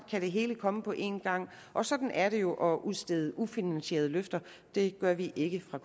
kan det hele komme på en gang og sådan er det jo at udstede ufinansierede løfter det gør vi ikke fra